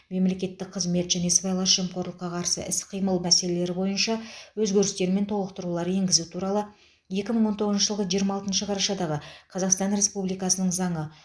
мемлекеттік қызмет және сыбайлас жемқорлыққа қарсы іс қимыл мәселелері бойынша өзгерістер мен толықтырулар енгізу туралы екі мың он тоғызыншы жылғы жиырма тоғызыншы жылғы жиырма алтыншы қарашадағы қазақстан республикасының заңы